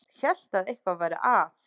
Hélt að eitthvað væri að.